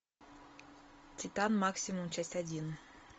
титан максимум часть один